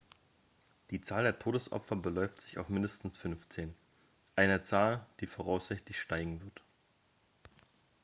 die zahl der todesopfer beläuft sich auf mindestens 15 eine zahl die voraussichtlich steigen wird